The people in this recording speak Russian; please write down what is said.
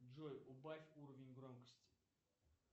джой убавь уровень громкости